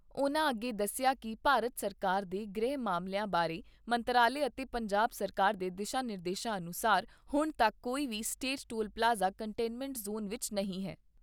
ਉਨ੍ਹਾਂ ਅੱਗੇ ਦੱਸਿਆ ਕਿ ਭਾਰਤ ਸਰਕਾਰ ਦੇ ਗ੍ਰਹਿ ਮਾਮਲਿਆਂ ਬਾਰੇ ਮੰਤਰਾਲੇ ਅਤੇ ਪੰਜਾਬ ਸਰਕਾਰ ਦੇ ਦਿਸ਼ਾ ਨਿਰਦੇਸ਼ਾਂ ਅਨੁਸਾਰ ਹੁਣ ਤੱਕ ਕੋਈ ਵੀ state toll plaza containment zone ਵਿੱਚ ਨਹੀਂ ਹੈ।